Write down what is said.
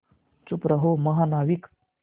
चुप रहो महानाविक